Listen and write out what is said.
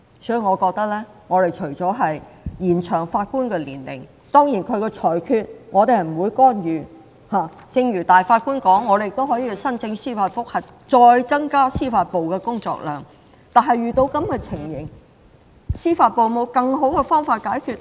當然我們不會干預法官的裁決，正如首席法官說我們可以申請司法覆核，再增加司法機構的工作量，但遇到這種情況，司法機構有否更好的解決方法？